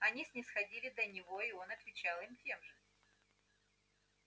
они снисходили до него и он отвечал им тем же